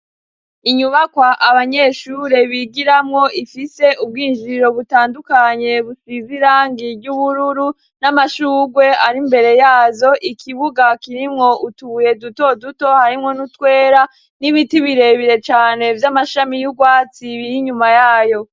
Inyubakwa abanyeshure bigiramwo ifise ubwinjiriro butandukanye, busize irangi ry'ubururu n'amashugwe ari mbere yazo, ikibuga kirimwo utubuye dutoduto harimwo n'utwera n'ibiti birebire cane vy'amashami y'ubwatsi biri inyuma yayo.